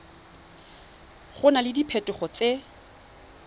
go na le diphetogo tse